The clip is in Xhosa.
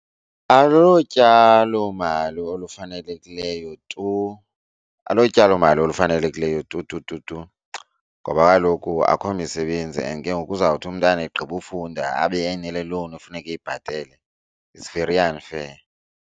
Alo tyalomali olufanelekileyo tu, alo tyalomali olufanelekileyo tu tu tu tu ngoba kaloku akho misebenzi and ke ngoku uzawuthi umntana egqibe ufunda abe enale loan efuneka eyibhatele. It's very unfair.